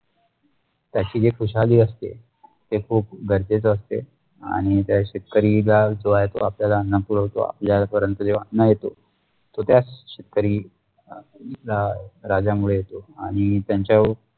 त्याशी एक खुशाली असते ते खुप गरजेसे असते आणि त्या शेतकरीत्या जो आहे तो आपल्याला अन्न पूर्वतो आपल्या जो अन्न येतो जोत्या शेतकरी रा राजामुडे आणि त्यांचा